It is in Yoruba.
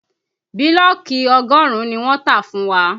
Bílọ̀kì ọgọ́rùn-ún ni wọ́n tà fún wa